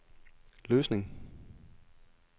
Løsning